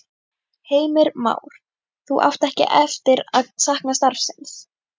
Heimir Már: Þú átt ekki eftir að sakna starfsins?